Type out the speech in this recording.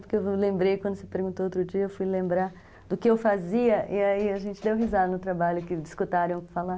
Porque eu lembrei, quando você perguntou outro dia, eu fui lembrar do que eu fazia e aí a gente deu risada no trabalho, que escutaram eu falar.